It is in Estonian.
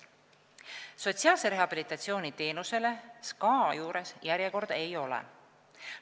Sotsiaalse rehabilitatsiooni teenuse saamiseks SKA juures järjekorda ei ole.